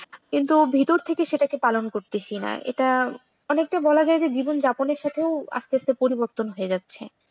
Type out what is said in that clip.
কিন্তু ভেতর থেকে সেটাকে পালন করতেছি না এটা অনেকটা বলা যায় যে জীবনযাপনের সাথেও আস্তে আস্তে পরিবর্তন হতে যাচ্ছে।